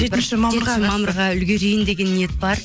жетінші мамырға үлгерейін деген ниет бар